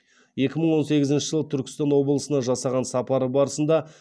екі мың он сегізінші жылы түркістан облысына жасаған сапары барысында